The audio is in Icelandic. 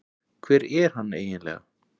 Hver er hann eiginlega